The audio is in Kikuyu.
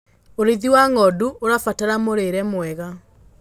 ũrĩithi wa ng'ondu ũrabatara mũrĩre mwega